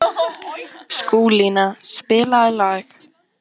Skúlína, spilaðu lag.